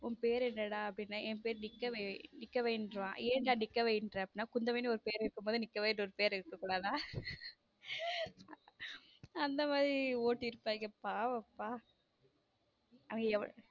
உன் பேர் என்னடா அப்பிடினே என் பேரு நிக்க வை என்றான் ஏண்டா நிற்கவைங்கற குந்தவை நு பேரு இருக்கும்போது நிற்க வை னு ஒரு பேர் இருக்கக் கூடாதா அந்த மாதிரி ஓட்டியிருப்பாங்க பாவம் ப அவங்க எவ்வளவு.